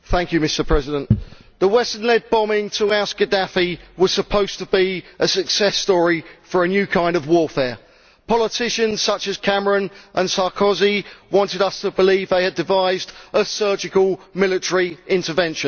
Mr President, the Western led bombing to oust Gaddafi was supposed to be a success story for a new kind of warfare. Politicians such as Cameron and Sarkozy wanted us to believe they had devised a surgical military intervention.